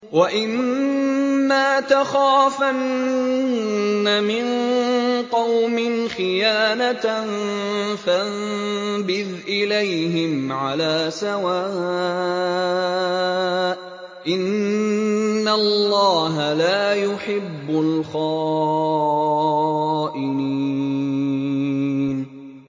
وَإِمَّا تَخَافَنَّ مِن قَوْمٍ خِيَانَةً فَانبِذْ إِلَيْهِمْ عَلَىٰ سَوَاءٍ ۚ إِنَّ اللَّهَ لَا يُحِبُّ الْخَائِنِينَ